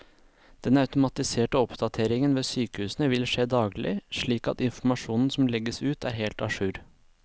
Den automatiserte oppdateringen ved sykehusene vil skje daglig, slik at informasjonen som legges ut er helt a jour.